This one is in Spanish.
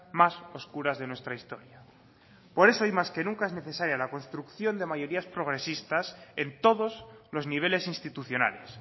más oscuras de nuestra historia por eso hoy más que nunca es necesaria la construcción de mayorías progresistas en todos los niveles institucionales